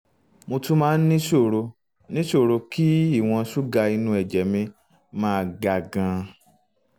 mo tún máa ń níṣòro níṣòro kí ìwọ̀n um ṣúgà inú ẹ̀jẹ̀ mi um máa ga gan-an